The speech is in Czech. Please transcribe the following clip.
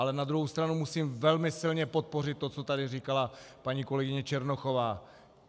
Ale na druhou stranu musím velmi silně podpořit to, co tady říkala paní kolegyně Černochová.